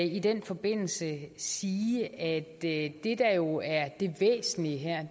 i den forbindelse sige at det det der jo er det væsentlige her